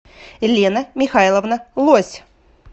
лена михайловна лось